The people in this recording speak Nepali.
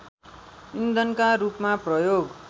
इन्धनका रूपमा प्रयोग